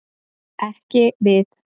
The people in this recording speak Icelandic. Ekki við.